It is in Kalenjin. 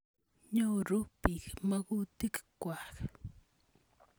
Nyoru piik makutik kwak.